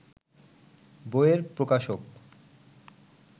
বইয়ের প্রকাশক